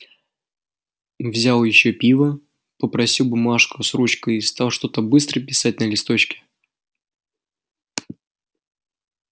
взял ещё пива попросил бумажку с ручкой и стал что-то быстро писать на листочке